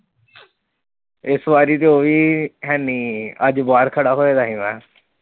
ਇਸ ਵਾਰੀ ਤੇ ਉਹ ਵੀ ਹੈ ਨਹੀਂ, ਅੱਜ ਬਾਹਰ ਖੜਾ ਹੋਇਆ ਸੀ ਮੈਂ।